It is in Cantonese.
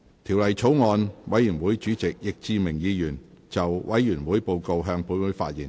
條例草案委員會主席易志明議員就委員會報告，向本會發言。